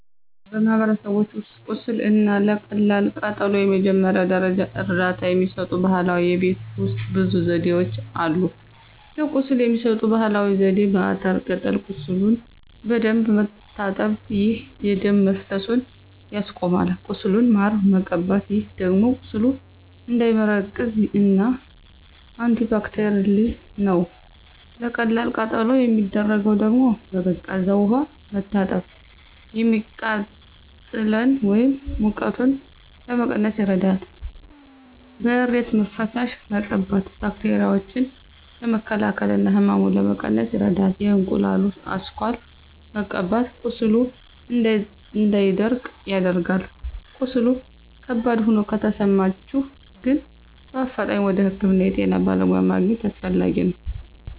በማህበረሰቦች ውስጥ ቁስል እና ለቀላል ቃጠሎ የመጀመሪያ ደረጃ እርዳታ የሚሰጡ ባህላዊ የቤት ውሰጥ ብዙ ዘዴዎች አሉ። ለቁስል የሚሰጠው ባህላዊ ዜዴ፦ በአተር ቅጠል ቁሱሉን በደንብ መታጠብ፣ ይህ የደም መፈሰሱን ያስቆማል። ቁስሉን ማር መቀባት ይህ ደግሞ ቁስሉ እንዳይመረቅዝ እና አንቲባክቴርል ነው። ለቀላል ቃጠሎ የሚደረገው ደግሞ፦ በቀዝቃዛ ውሃ መታጠብ፤ የሚቃጥለን ወይም ሙቀቱን ለመቀነስ ይረዳል። በእሬት ፈሳሽ መቀባት ባክቴራዎችን ለመከላከል እና ህመሙን ለመቀነስ ይረዳል። የእንቁላሉ አስኳል መቀባት ቁስሉ እንዳይደርቅ ያደርጋል። ቀስሉ ከባድ ሆኖ ከተሰማቸሁ ግን በአፋጣኝ ወደ ህክምና የጤና በለሙያ ማግኝት አሰፈላጊ ነው።